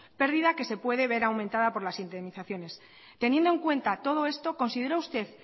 pérdida que se puede ver aumentada por las indemnizaciones teniendo en cuenta todo esto considera usted